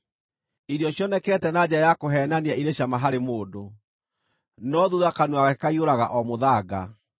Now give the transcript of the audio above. Irio cionekete na njĩra ya kũheenania irĩ cama harĩ mũndũ, no thuutha kanua gake kaiyũraga o mũthanga.